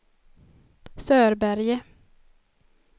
Sörberge